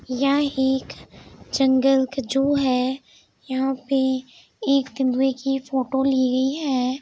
य एक जंगल का ज़ू है यहाँ पे एक तेंदुए की फ़ोटो ली गई है।